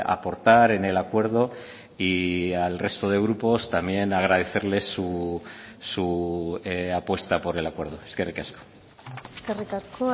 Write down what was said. aportar en el acuerdo y al resto de grupos también agradecerles su apuesta por el acuerdo eskerrik asko eskerrik asko